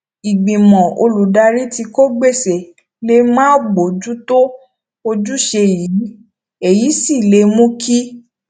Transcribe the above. ìgbìmọ olùdarí tí kò gbéṣé lè máà bójú tó ojúṣe yìí èyí sì lè mú kí